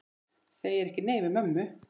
Segir ekki nei við mömmu!